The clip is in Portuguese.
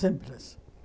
Simples.